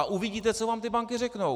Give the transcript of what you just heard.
A uvidíte, co vám ty banky řeknou!